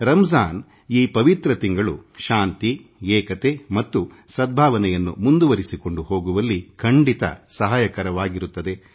ರಂಜಾನ್ ಈ ಪವಿತ್ರ ಮಾಸ ಶಾಂತಿ ಏಕತೆ ಮತ್ತು ಸದ್ಭಾವನೆಯನ್ನು ಮುಂದುವರಿಸಿಕೊಂಡು ಹೋಗುವಲ್ಲಿ ಖಂಡಿತ ಸಹಕಾರಿಯಾಗಿರುತ್ತದೆ